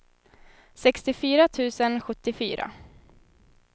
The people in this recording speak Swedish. sextiofyra tusen sjuttiofyra